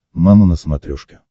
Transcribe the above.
мама на смотрешке